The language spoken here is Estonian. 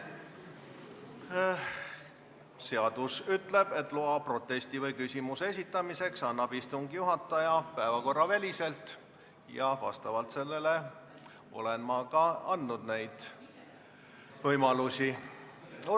Seadus ütleb, et loa protesti või küsimuse esitamiseks annab istungi juhataja päevakorraväliselt, ja vastavalt sellele olen ma neid võimalusi ka andnud.